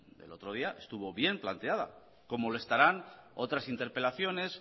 el otro día estuvo bien planteada como lo estarán otras interpelaciones